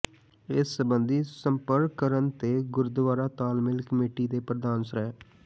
ਇਸ ਸਬੰਧੀ ਸੰਪਰਕ ਕਰਨ ਤੇ ਗੁਰਦੁਆਰਾ ਤਾਲਮੇਲ ਕਮੇਟੀ ਦੇ ਪ੍ਰਧਾਨ ਸ੍ਰ